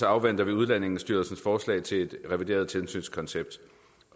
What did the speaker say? afventer vi udlændingestyrelsens forslag til et revideret tilsynskoncept